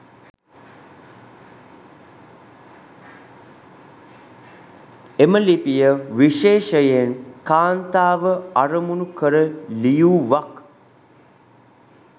එම ලිපිය විශේෂයෙන් කාන්තාව අරමුණු කර ලියූවක්.